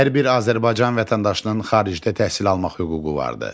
Hər bir Azərbaycan vətəndaşının xaricdə təhsil almaq hüququ vardır.